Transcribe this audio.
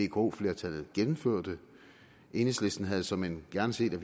vko flertallet gennemførte enhedslisten havde såmænd gerne set at